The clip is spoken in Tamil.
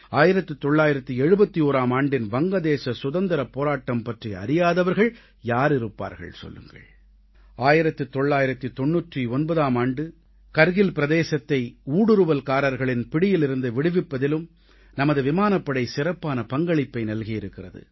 1971ஆம் ஆண்டின் வங்கதேச சுதந்திரப் போராட்டம் பற்றி அறியாதவர்கள் யார் இருப்பார்கள் சொல்லுங்கள் 1999ஆம் ஆண்டு கார்கில் பிரதேசத்தை ஊடுருவல்காரர்களின் பிடியிலிருந்து விடுவிப்பதிலும் நமது விமானப்படை சிறப்பான பங்களிப்பை நல்கியிருக்கிறது